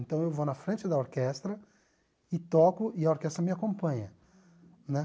Então eu vou na frente da orquestra e toco e a orquestra me acompanha né